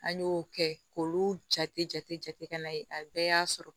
An y'o kɛ k'olu jate jate jate na ye a bɛɛ y'a sɔrɔ